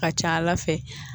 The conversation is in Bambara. Ka ca ala fɛ